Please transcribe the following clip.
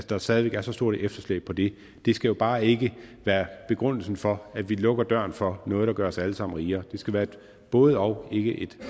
der stadig væk er så stort et efterslæb på det det skal jo bare ikke være begrundelsen for at vi lukker døren for noget der gør os alle sammen rigere det skal være et både og ikke et